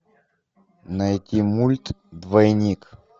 найти мульт двойник